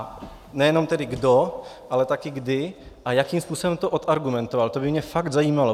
A nejenom tedy kdo, ale taky kdy a jakým způsobem to odargumentoval, to by mě fakt zajímalo.